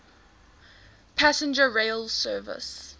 passenger rail service